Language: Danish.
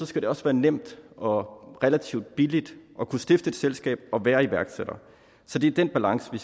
skal det også være nemt og og relativt billigt at kunne stifte et selskab og være iværksætter så det er den balance vi